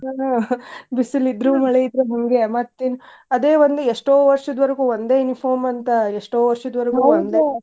ಹಾ ಬಿಸಿಲಿದ್ರು ಮಳಿಯಿದ್ರು ಹಿಂಗೆ ಮತ್ತ್ ಇನ್ನ್ ಅದೇ ಒಂದು ಎಷ್ಟೋ ವರ್ಷದ್ವರ್ಗು ಒಂದೇ uniform ಅಂತ ಎಷ್ಟೋ .